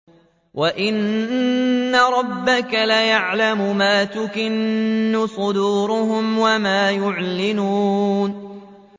وَإِنَّ رَبَّكَ لَيَعْلَمُ مَا تُكِنُّ صُدُورُهُمْ وَمَا يُعْلِنُونَ